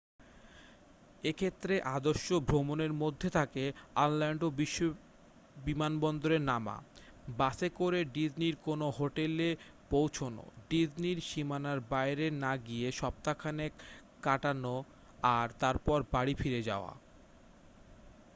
এক্ষেত্রে আদর্শ ভ্রমণের মধ্যে থাকে অরল্যান্ডো বিমানবন্দরে নামা বাসে করে ডিজনির কোনো হোটেলে পৌঁছনো ডিজনির সীমানার বাইরে না গিয়ে সপ্তাহখানেক কাটানো আর তারপর বাড়ি ফিরে যাওয়া